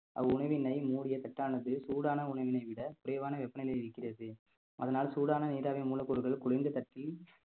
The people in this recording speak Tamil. அவ்உணவினை மூடிய தட்டானது சூடான உணவினை விட குறைவான வெப்பநிலையில் இருக்கிறது அதனால் சூடான நீராவி மூலப்பொருட்கள் குளிர்ந்து தட்டில்